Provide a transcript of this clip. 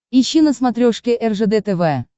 ищи на смотрешке ржд тв